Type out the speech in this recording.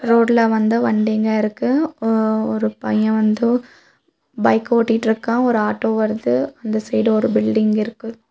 ரோட்ல வந்து வண்டிங்க இருக்கு ஒரு பையன் வந்து பைக் ஓட்டிட்ருக்கா ஒரு ஆட்டோ வருது அந்த சைடு ஒரு பில்டிங் இருக்கு.